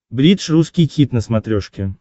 бридж русский хит на смотрешке